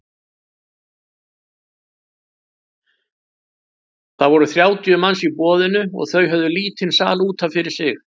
Það voru þrjátíu manns í boðinu og þau höfðu lítinn sal út af fyrir sig.